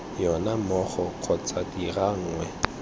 yona mmogo kgotsa dira nngwe